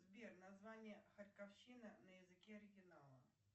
сбер название харьковщина на языке оригинала